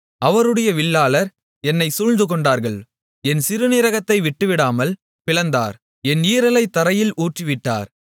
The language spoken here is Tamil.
அவருடைய வில்லாளர் என்னைச் சூழ்ந்துகொண்டார்கள் என் சிறுநீரகத்தை விட்டுவிடாமல் பிளந்தார் என் ஈரலைத் தரையில் ஊற்றிவிட்டார்